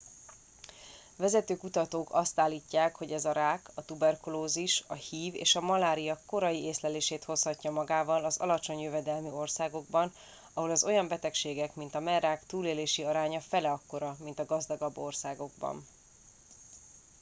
vezető kutatók azt állítják hogy ez a rák a tuberkulózis a hiv és a malária korai észlelését hozhatja magával az alacsony jövedelmű országokban ahol az olyan betegségek mint a mellrák túlélési aránya fele akkora mint a gazdagabb országokban